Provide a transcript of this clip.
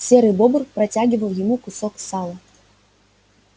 серый бобр протягивал ему кусок сала